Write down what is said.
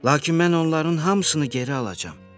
Lakin mən onların hamısını geri alacağam.